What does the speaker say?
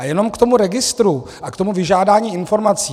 A jenom k tomu registru a k tomu vyžádání informací.